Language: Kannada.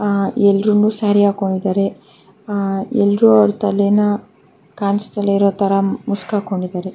ಆ ಎಲ್ರುನೂ ಸ್ಯಾರಿ ಹಾಕೊಂಡಿದ್ದಾರೆ ಎಲ್ರು ಅವ್ರ ತಲೇನ ಕಾಣುಸದೆ ಇರೋತರ ಮುಸ್ಕ್ ಹಾಕೊಂಡಿದ್ದಾರೆ.